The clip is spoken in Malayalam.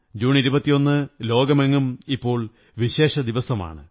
ജൂൺ 21 ലോകമെങ്ങും ഇപ്പോൾ വിശേഷദിവസമാണ്